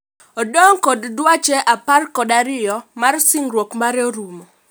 Odong' kod dweche apor kod ario mar singruok mare rumo